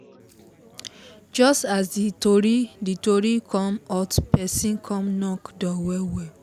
just as the tori the tori come hot person come knock door well well